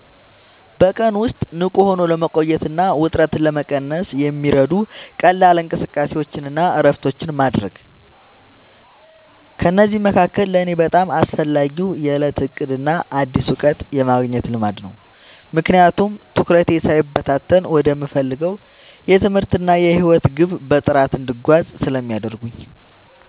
በቀን ውስጥ ንቁ ሆኖ ለመቆየትና ውጥረትን ለመቀነስ የሚረዱ ቀላል እንቅስቃሴዎችንና እረፍቶችን ማድረግ። ከእነዚህ መካከል ለእኔ በጣም አስፈላጊው የዕለት ዕቅድና አዲስ እውቀት የማግኘት ልማድ ነው፤ ምክንያቱም ትኩረቴ ሳይበታተን ወደምፈልገው የትምህርትና የሕይወት ግብ በጥራት እንድጓዝ ስለሚያደርጉኝ።